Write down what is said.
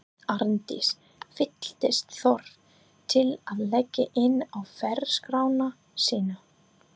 Arndís fylltist þörf til að leggja inn á ferilskrána sína.